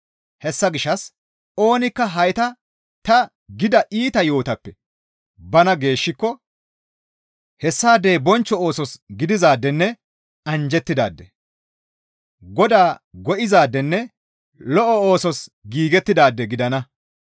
Hessa gishshas oonikka hayta ta gida iita yo7otappe bana geeshshiko; hessaadey bonchcho oosos gidizaadenne anjjettidaade; Godaa go7izaadenne lo7o oosos giigettidaade gidana.